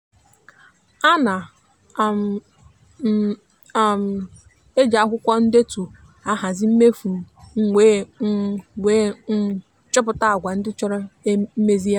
ana um m um ejij akwụkwọ ndetu ahazi mmefu m wee um wee um chọpụta agwa ndị chọrọ mmezigharị.